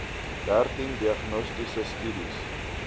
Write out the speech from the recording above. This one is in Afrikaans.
dertien diagnostiese studies